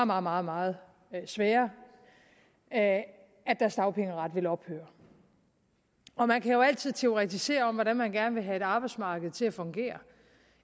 meget meget meget svære at at deres dagpengeret vil ophøre man kan jo altid teoretisere om hvordan man gerne vil have et arbejdsmarked til at fungere